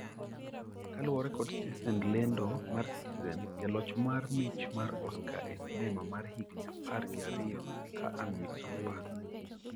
kaluwore kod stesend lendo mar citizen jaloch mar mich mar Oscar e sinema mar higni apar gi ariyo ka an misumba